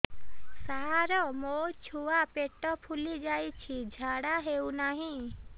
ସାର ମୋ ଛୁଆ ପେଟ ଫୁଲି ଯାଉଛି ଝାଡ଼ା ହେଉନାହିଁ